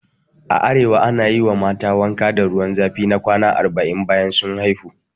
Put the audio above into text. A arewa ana yi wa mata wanka da ruwa zafi ma kwana arba'in bayan sun haihu